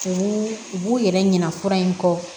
U b'u u b'u yɛrɛ ɲina fura in kɔ